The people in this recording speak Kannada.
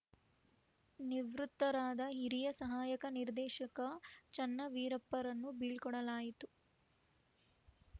ನಿವೃತ್ತರಾದ ಹಿರಿಯ ಸಹಾಯಕ ನಿರ್ದೇಶಕ ಚನ್ನವೀರಪ್ಪರನ್ನು ಬೀಳ್ಕೋಡಲಾಯಿತು